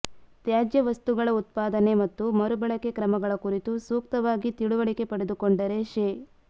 ತ್ಯಾಜ್ಯ ವಸ್ತುಗಳ ಉತ್ಪಾದನೆ ಮತ್ತು ಮರು ಬಳಕೆ ಕ್ರಮಗಳ ಕುರಿತು ಸೂಕ್ತವಾಗಿ ತಿಳಿವಳಿಕೆ ಪಡೆದುಕೊಂಡರೆ ಶೇ